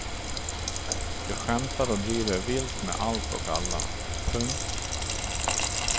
De skämtar och driver vilt med allt och alla. punkt